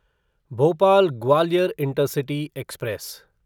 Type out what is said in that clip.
Bhopal Gwalior intercity express